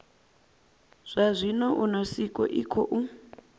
zwa zwino unesco i khou